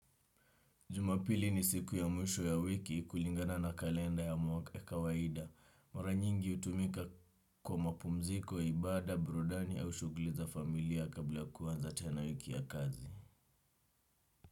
Jumapili ni siku ya mwisho ya wiki kulingana na kalenda ya mwaka ya kawaida. Mara nyingi hutumika kwa mapumziko, ibada, burudani au shughuli za familia kabla kuanza tena wiki ya kazi.